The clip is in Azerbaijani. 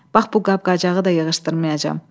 Bax bu qab-qacağı da yığışdırmayacam.